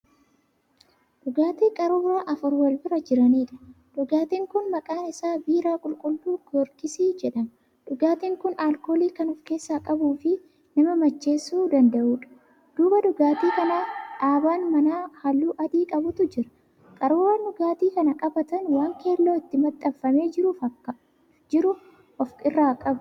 Dhugaatii qaruuraa afur walbira jiraniidha. dhugaatiin Kun maqaan Isaa 'biiraa qulqulluu goorgissii'jedhama. dhugaatiin Kun alkoolii Kan of keessaa qabuufi nama macheessuu danda'uudha. duuba dhugaatii kanaa dhaabaan manaa halluu adii qabutu jira. qaruuraan. dhugaatii kana qabatan waan keelloo itti maxxanfamee jiru of irraa qabu